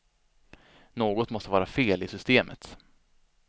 Något måste vara fel i systemet.